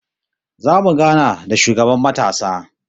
Zamu gana da shugaban matasa